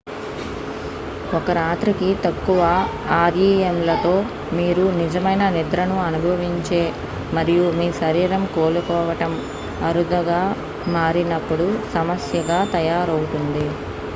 ఒక రాత్రికి తక్కువ ఆర్ఇఎమ్లతో మీరు నిజమైన నిద్రను అనుభవించే మరియు మీ శరీరం కోలుకోవటం అరుదుగా మారినప్పుడు సమస్యగా తయారవుతుంది